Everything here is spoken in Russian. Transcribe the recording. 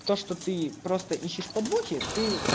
то что ты просто ищешь подвохи ты